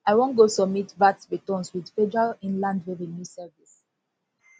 i wan go submit vat returns with federal inland revenue service